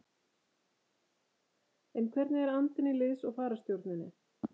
En hvernig er andinn í liðs- og fararstjórninni?